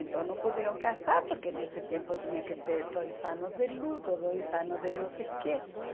Então não poderam casar, porque nesse tempo tinha que ter dois anos de luto, dois anos de não sei quê, dois?